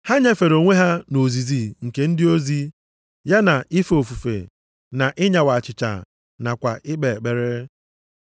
Ha nyefere onwe ha nʼozizi nke ndị ozi, ya na ife ofufe na ịnyawa achịcha nakwa ikpe ekpere.